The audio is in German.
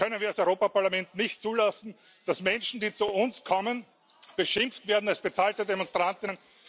Das können wir als Europäisches Parlament nicht zulassen, dass Menschen, die zu uns kommen, beschimpft werden als bezahlte Demonstrantinnen.